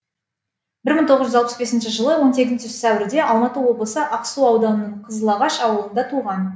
бір мың тоғыз жүз алпыс бесінші жылы он сегізінші сәуірде алматы облысы ақсу ауданының қызылағаш ауылында туған